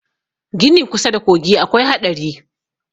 Gini kusa da kogi akwai haɗari